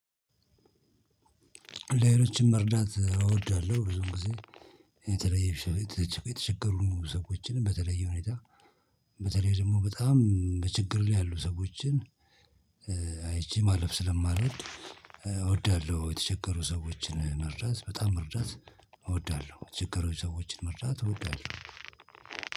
ሌሎችን መርዳት አወዳለሁ ብዙውን ጊዜ የተለየ የተቸገሩ ሰዎችን በተለየ ሁኔታ በተለይ ደግሞ በጣም በ ችግር ላይ ያሉ ሰዎችን አይቼ ማለፍ ስለማልወድ እወዳለው የተቸገሩ ሰዎችን መርዳት በጣም መርዳት እወዳለሁ። የተቸገሩ ሰዎችን መርዳት እወዳለሁ።